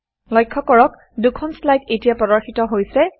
লক্ষ্য কৰক দুখন শ্লাইড এতিয়া প্ৰদৰ্শিত হৈছে